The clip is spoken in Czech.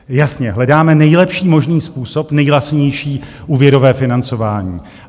Jasně, hledáme nejlepší možný způsob, nejlacinější úvěrové financování.